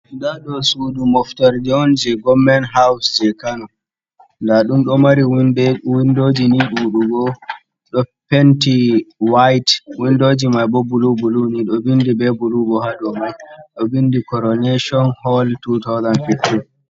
Nda ɗo sudu moftorde on jei gommen haaws jei Kano. Nda ɗum ɗo mari windoji ni ɗuɗugo, ɗo penti wait, windoji mai bo bulu-bulu ni, ɗo vindi be bulu bo haa dou mai. Ɗo vindi koroneshon hol 2015.